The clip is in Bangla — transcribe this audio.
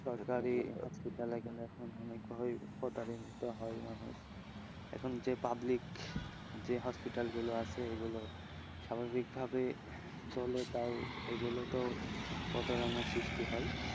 সরকারি hospital এ এখানে অনেক ভাবেই প্রতারিত হয় মানুষ, এখন যে public যে হাসপাতাল গুলো আছে এগুলো স্বাভাবিক ভাবে চলে তাও এগুলোতেও প্রতারণার সৃষ্টি হয়,